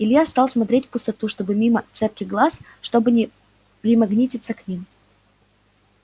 илья стал смотреть в пустоту чтобы мимо цепких глаз чтобы не примагнититься к ним